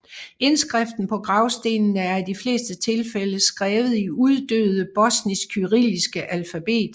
Indskriften på gravstenene er i de fleste tilfælde skrevet i uddøde bosnisk kyrilliske alfabet